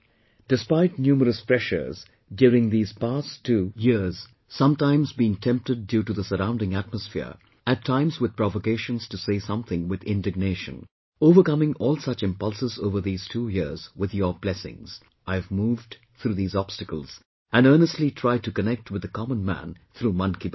Despite numerous pressures during these past two years sometimes being tempted due the surrounding atmosphere, at times with provocations to say something with indignation overcoming all such impulses over these two years with your blessings, I have moved through these obstacles and earnestly tried to connect with the common man through Mann Ki Baat